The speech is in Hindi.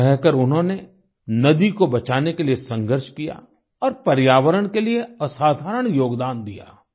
यहाँ रहकर उन्होंने नदी को बचाने के लिए संघर्ष किया और पर्यावरण के लिए असाधारण योगदान दिया